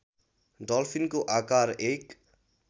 डल्फिनको आकार १